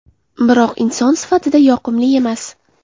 Biroq inson sifatida yoqimli emas.